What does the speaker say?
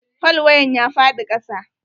Falwayen ya faɗi kasa.